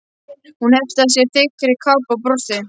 Hún hneppti að sér þykkri kápu og brosti.